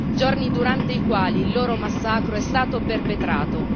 Giorni durante i quali il loro massacro è stato perpetrato.